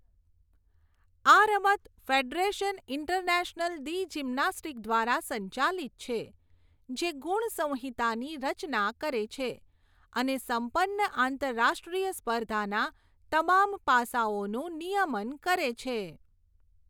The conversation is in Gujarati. આ રમત ફેડરેશન ઇન્ટરનેશનલ દી જિમનાસ્ટિક દ્વારા સંચાલિત છે, જે ગુણ સંહિતાની રચના કરે છે અને સંપન્ન આંતરરાષ્ટ્રીય સ્પર્ધાના તમામ પાસાઓનું નિયમન કરે છે.